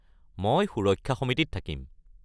মই সুৰক্ষা সমিতিত থাকিম।